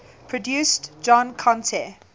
produced john conteh